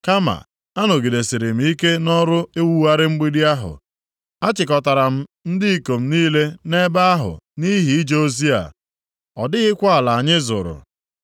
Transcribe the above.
Kama, anọgidesiri m ike nʼọrụ iwugharị mgbidi ahụ, achịkọtara ndị ikom m niile nʼebe ahụ nʼihi ije ozi a. Ọ dịghịkwa ala anyị zụrụ.